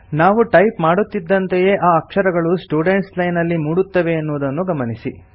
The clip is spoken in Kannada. ನಾವು ಟೈಪ್ ಮಾಡುತ್ತಿದ್ದಂತೆಯೇ ಆ ಅಕ್ಷರಗಳು ಸ್ಟುಡೆಂಟ್ಸ್ ಲೈನ್ ನಲ್ಲಿ ಮೂಡುತ್ತವೆ ಎನ್ನುವುದನ್ನು ಗಮನಿಸಿ